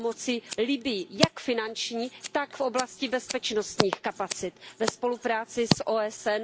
s pomocí Libyi jak finanční, tak v oblasti bezpečnostních kapacit ve spolupráci s OSN.